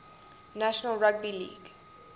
national rugby league